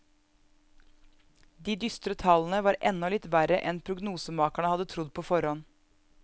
De dystre tallene var enda litt verre enn prognosemakerne hadde trodd på forhånd.